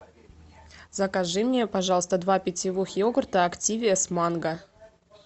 закажи мне пожалуйста два питьевых йогурта активиа с манго